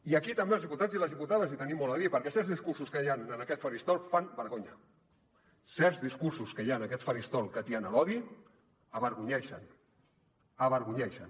i aquí també els diputats i les diputades hi tenim molt a dir perquè certs discursos que hi han en aquest faristol fan vergonya certs discursos que hi han en aquest faristol que atien l’odi avergonyeixen avergonyeixen